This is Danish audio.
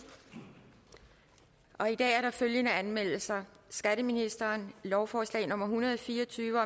i dag er der følgende anmeldelser skatteministeren lovforslag nummer hundrede og fire og tyve